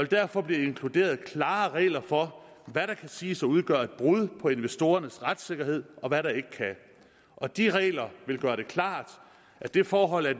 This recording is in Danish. derfor blive inkluderet klare regler for hvad der kan siges at udgøre et brud på investorernes retssikkerhed og hvad der ikke kan og de regler vil gøre det klart at det forhold at